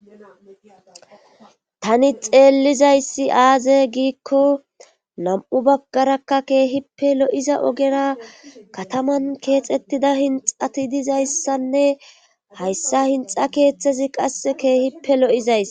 tani xeellizayssi aaze giikko nam7u baggarakka keehippe lo7iza ogera kataman keexettida hinxati dizayssanne hayssa hinxa keeththezi qasse keehippe lo7izays